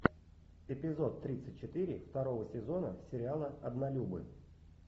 эпизод тридцать четыре второго сезона сериала однолюбы